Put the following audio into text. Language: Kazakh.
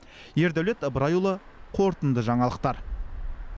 ердәулет ыбырайұлы қорытынды жаңалықтар